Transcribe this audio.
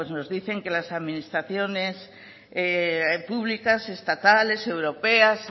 nos dicen que las administraciones públicas estatales europeas